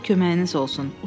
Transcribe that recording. Allah köməyiniz olsun.